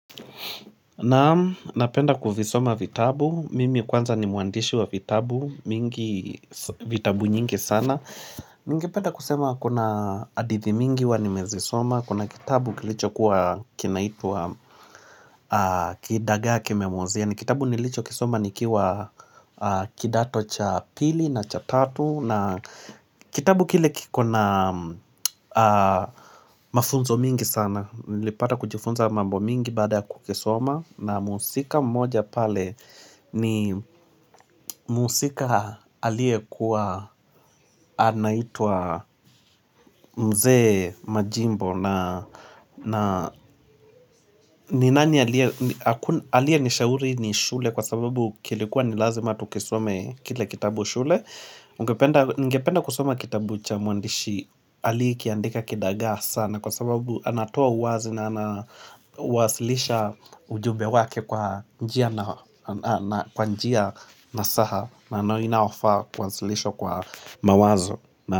Naam napenda kuvisoma vitabu, mimi kwanza ni muandishi wa vitabu mingi vitabu nyingi sana Ningependa kusema kuna hadithi mingi huwa nimezisoma, kuna kitabu kilichokuwa kinaitwa kidagaa kimemuozea. Ni kitabu nilichokisoma nikiwa kidato cha pili na cha tatu. Kitabu kile kikona mafunzo mingi sana. Nilipata kujifunza mambo mingi baada ya kukisoma na muhusika mmoja pale ni muhusika aliyekuwa anaitwa mzee Majimbo ni nani aliyenishauri ni shule kwa sababu kilikuwa nilazima tukisome kile kitabu shule Ningependa kusoma kitabu cha muandishi aliyeandika Kidagaa sana kwa sababu anatoa uwazi na kuwasilisha ujube wake kwa njia nasaha na inayofaa kuwasilishwa kwa mawazo.